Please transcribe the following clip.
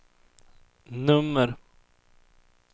nummer